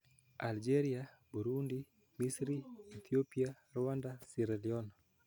Algeria, Burundi, Misri, Ethiopia, Rwanda, Sierra Leone,